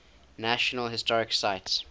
national historic site